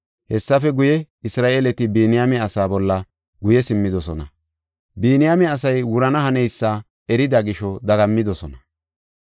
Hessafe guye, Isra7eeleti Biniyaame asaa bolla guye simmidosona. Biniyaame asay wurana haneysa erida gisho dagammidosona.